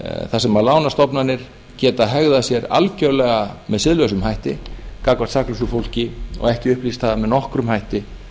þar sem lánastofnanir geta hegðað sé algjörlega með siðlausum hætti gagnvart saklausu fólki og ekki upplýst það með nokkrum hætti